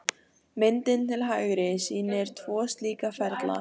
Myndin til hægri sýnir tvo slíka ferla.